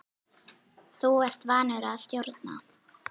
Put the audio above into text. Þú ert vanur að stjórna.